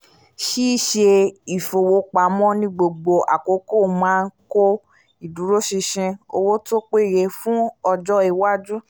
ṣíṣe ìfowópamọ́ ní gbogbo àkókò máa ń kọ́ ìdúróṣinṣin owó tó péye fún ọjọ́ iwájú